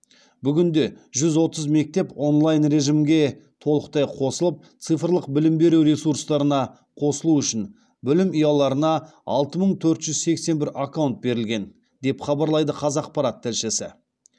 бүгінде жүз отыз мектеп онлайн режімге толықтай қосылып цифрлық білім беру ресурстарына қосылу үшін білім ұяларына алты мың төрт жүз сексен бір аккаунт берілген деп хабарлайды қазақпарат тілшісі